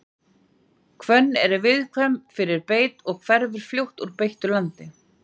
Hvönn er viðkvæm fyrir beit og hverfur fljótt úr beittu landi.